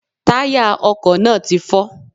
Táyà ọkò náà ti fọ́